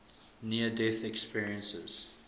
near death experiences